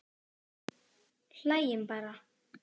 Hlæjum bara.